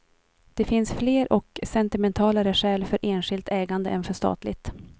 Det finns fler och sentimentalare skäl för enskilt ägande än för statligt.